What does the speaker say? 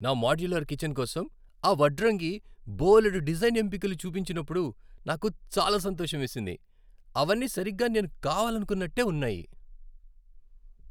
నా modular kitchen కోసం ఆ వడ్రంగి బోలెడు డిజైన్ ఎంపికలు చూపించినప్పుడు నాకు చాలా సంతోషమేసింది. అవన్నీ సరిగ్గా నేను కావాలనుకున్నట్టే ఉన్నాయి!